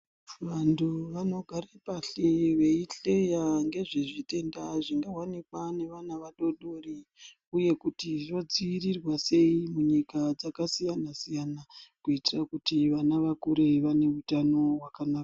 Vanthu vanogare pashi veihleya ngezvezvitenda zvingaonekwa ngevana vadodori uye kuti zvodzivirirwa sei munyika dzakasiya siyana kuitira kuti vana vakure vaneutano hwakanaka.